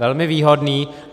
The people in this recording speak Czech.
Velmi výhodný.